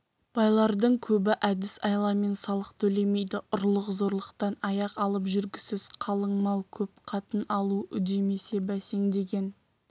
байлардың көбі әдіс-айламен салық төлемейді ұрлық-зорлықтан аяқ алып жүргісіз қалың мал көп қатын алу үдемесе бәсеңдеген